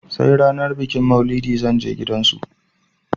I will go their house on the day of maulud